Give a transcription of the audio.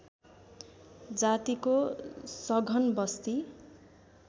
जातिको सघन बस्ती